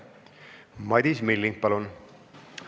Madis Milling, palun!